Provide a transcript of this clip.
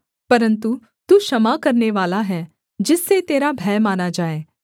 परन्तु तू क्षमा करनेवाला है जिससे तेरा भय माना जाए